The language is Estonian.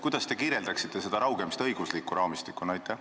Kuidas te selgitaksite seda raugemist õiguslikus raamistikus?